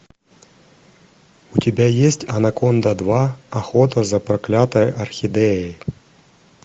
у тебя есть анаконда два охота за проклятой орхидеей